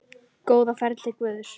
Góða ferð til Guðs.